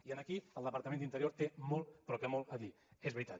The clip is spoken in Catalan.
i aquí el departament d’interior té molt però que molt a dir és veritat